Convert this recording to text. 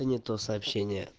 не то сообщение